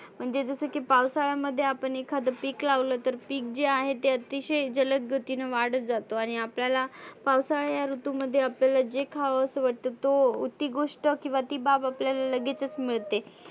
म्हणजे जसं की पावसाळ्यामध्ये आपण एखाद पिक लावलं तर पिक जे आहे ते आतिशय जलद गतिने वाढत जातो. आणि आपल्याला पावसाळा या ऋतू मध्ये आपल्याला जे खावंस वाटत तो ती गोष्ट किंवा ती बाब आपल्याला लगेच मिळते.